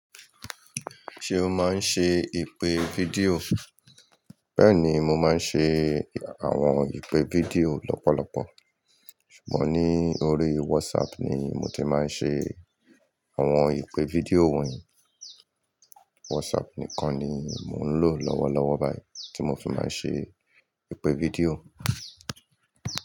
Ṣé o máa ń ṣe ìpè fídíò? Bẹ́ẹ̀ ni, mo máa ń ṣe àwọn ìpè fídíò lọ́pọ̀lọpọ̀. Ṣùgbọ́n ní orí WhatsApp ni mo ti máa ń ṣe àwọn ìpè fídíò wọ̀nyí. WhatsApp nìkan ni mò ń lò lọ́wọ́lọ́wọ́ báyìí tí mo fi máa ń ṣe ìpè fídíò.